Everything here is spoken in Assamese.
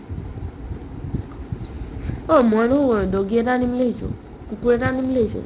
অ', মইনো doggy এটা আনিম বুলি ভাবিছো , কুকুৰ এটা আনিম বুলি ভাবিছো